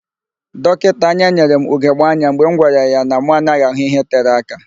Dọkịta anya nyere m ugegbe anya mgbe m gwara ya na mụ anaghị ahụ ihe tere aka.